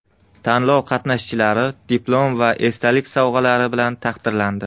Tanlov qatnashchilari diplom va esdalik sovg‘alari bilan taqdirlandi.